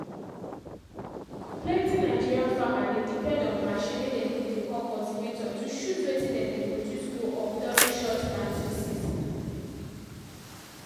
plenty nigeria farmer dey depend onmachine way dem dey call cultivator to shoot wetin dem dey produce go up during short planting season.